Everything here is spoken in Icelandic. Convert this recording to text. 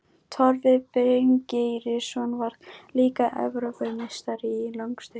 Torfi Bryngeirsson varð líka Evrópumeistari, í langstökki.